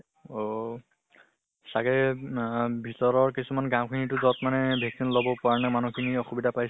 অহ চাগে নাহ ভিতৰৰ কিছুমান গাওঁ খিনি টো যʼত মানে vaccine লব কাৰণে মানুহ খিনি অসুবিধা পাইছিলে